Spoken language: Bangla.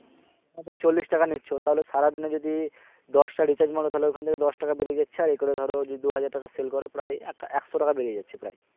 সেখান থেকে চল্লিশ টাকা নিচ্ছ তাহলে সারা দিলে যদি দশটা recharge মার তাহলে ওখান থেকে দশ টাকা বেরিয়ে যাচ্ছে আর এই করে ধরো যদি দুই হাজার টাকা sell কর প্রায় এক~একশো টাকা বেরিয়ে যাচ্ছে প্রায়